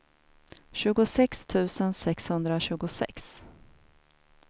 tjugosex tusen sexhundratjugosex